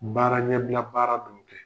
Baara ɲɛbila baara dɔw de